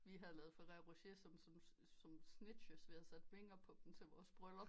Vi havde lavet ferrero rocher som sådan snitches vi havde sat vinger på dem til vores bryllup